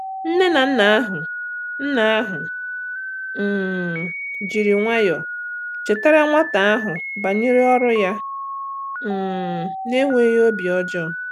Nne na nna ahụ nna ahụ um jiri nwayọọ chetara nwata ahụ banyere ọrụ ya um na-enweghị obi ọjọọ.